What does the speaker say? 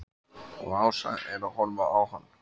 Og Ása er að horfa á hann.